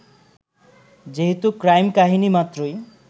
যেহেতু ক্রাইম-কাহিনী মাত্রই